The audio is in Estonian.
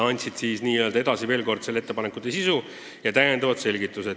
Nad tutvustasid veel kord ettepanekute sisu ja andsid täiendavaid selgitusi.